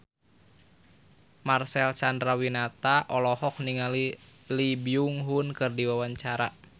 Marcel Chandrawinata olohok ningali Lee Byung Hun keur diwawancara